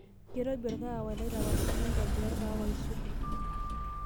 keirobi orkaawa lai tapasali ntobira orkaawa aisul